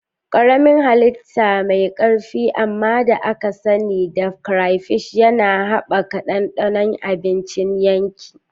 Karamin hallita mai ƙarfi amma da aka sani da crayfish yana haɓaka ɗanɗanon abincin yanki.